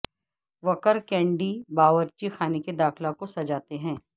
وکر کینڈی باورچی خانے کے داخلہ کو سجاتے ہیں